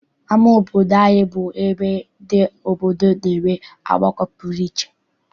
Ama obodo anyị bụ ebe ndị obodo na-enwe ọgbakọ pụrụ iche.